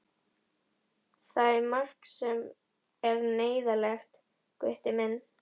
Það er margt sem er neyðarlegt, Gutti minn.